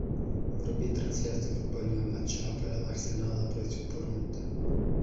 вруби трансляцию футбольного матча апл арсенала против борнмута